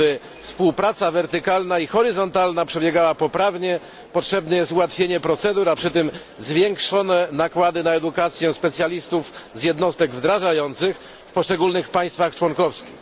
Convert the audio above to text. Aby współpraca wertykalna i horyzontalna przebiegała poprawnie, potrzebne jest ułatwienie procedur, a przy tym zwiększone nakłady na edukację specjalistów z jednostek wdrażających w poszczególnych państwach członkowskich.